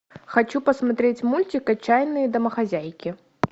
хочу посмотреть мультик отчаянные домохозяйки